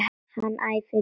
Hann æfir líka.